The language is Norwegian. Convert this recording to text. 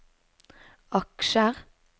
aksjer